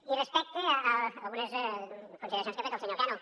i respecte a algunes consideracions que ha fet el senyor cano